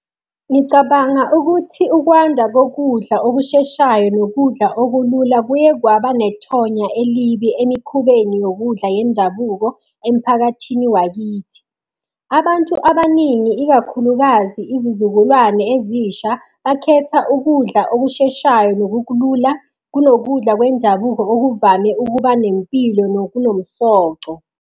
Ngicabanga ukuthi ukwanda kokudla okusheshayo nokudla okulula kuye kwaba nethonya elibi emikhubeni yokudla yendabuko emphakathini wakithi. Abantu abaningi ikakhulukazi izizukulwane ezisha, bakhetha ukudla okusheshayo nokulula kunokudla kwendabuko okuvame ukuba nempilo nokunomsoco.